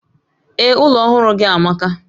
Ee, ụlọ ọhụrụ gị amaka